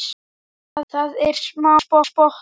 Það er smá spotti.